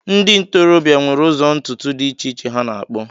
Ndị ntorobịa nwere ụzọ ntutu dị iche iche ha na-akpụ